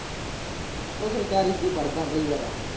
ਉਹ ਸਰਕਾਰੀ ਚ ਹੀ ਪੜ੍ਹਦਾ ਵੀ ਯਾਰ।